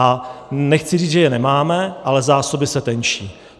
A nechci říct, že je nemáme, ale zásoby se tenčí.